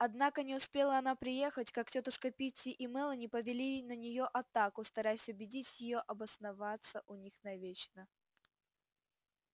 однако не успела она приехать как тётушка питти и мелани повели на неё атаку стараясь убедить её обосноваться у них навечно